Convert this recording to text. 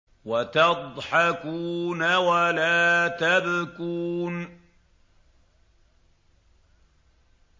وَتَضْحَكُونَ وَلَا تَبْكُونَ